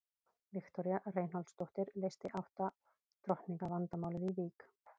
Viktoría Reinholdsdóttir leysti átta drottninga vandamálið í Vík.